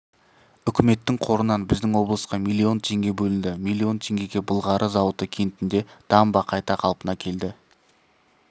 үкіметтің қорынан біздің облысқа миллион теңге бөлінді миллион теңгеге былғары зауыты кентінде дамба қайта қалпына келді